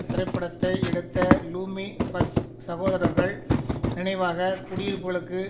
திரைப்படத்தை எடுத்த லூமியர்ஸ் சகோதரர்கள் நினைவாக குடியிருப்புகளுக்கு